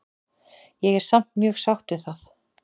Ég er samt mjög sátt við það.